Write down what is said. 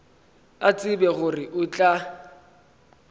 a tseba gore o tla